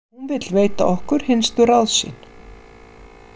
Hún vill veita okkur hinstu ráð sín.